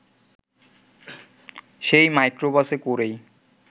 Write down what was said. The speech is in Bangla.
সেই মাইক্রোবাসে করেই